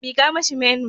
Mika mashi menu.